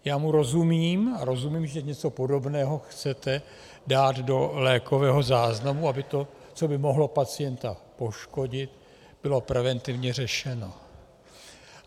Já mu rozumím a rozumím, že něco podobného chcete dát do lékového záznamu, aby to, co by mohlo pacienta poškodit, bylo preventivně řešeno.